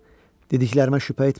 Dediklərimə şübhə etmə.